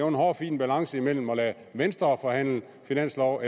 en hårfin balance mellem at lade venstre forhandle finanslov og